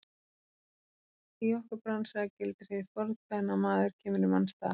Í okkar bransa gildir hið fornkveðna: Maður kemur í manns stað.